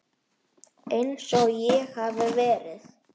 Einsog ég hafi verið.